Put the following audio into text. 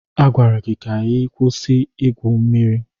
A gwara gị ka ị kwụsị Ị gwụ mmiri.